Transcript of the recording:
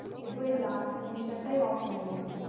শুধু ওই last semester টাই offline এ হলো।